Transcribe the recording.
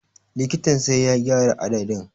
Likitan sai ya gyara adadin.